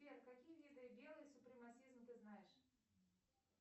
сбер как виды ты знаешь